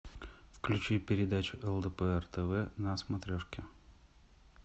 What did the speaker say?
включи передачу лдпр тв на смотрешке